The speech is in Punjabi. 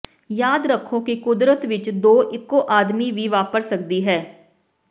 ਯਾਦ ਰੱਖੋ ਕਿ ਕੁਦਰਤ ਵਿੱਚ ਦੋ ਇੱਕੋ ਆਦਮੀ ਵੀ ਵਾਪਰ ਸਕਦੀ ਹੈ